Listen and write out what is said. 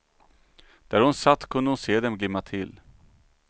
Där hon satt kunde hon se dem glimma till.